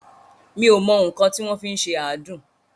Mi ò mọ nǹkan tí wọ́n fi ń ṣe àádùn.